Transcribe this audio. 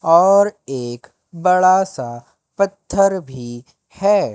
और एक बड़ा सा पत्थर भी है।